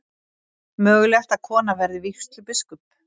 Mögulegt að kona verði vígslubiskup